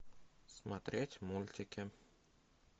смотреть мультики